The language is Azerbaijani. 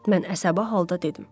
Mən əsəbi halda dedim.